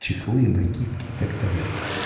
чехлы накидки и так далее